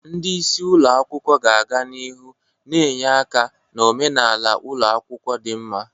Ndị isi ụlọ akwụkwọ ga-aga n'ihu na-enye aka na omenala ụlọ akwụkwọ dị mma.